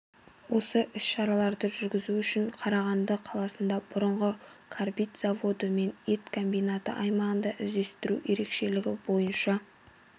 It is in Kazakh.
осы іс-шараларды жүргізу үшін қарағанды қаласында бұрынғы карбит заводы мен ет комбинаты аймағында іздестіру ерекшелігі бойынша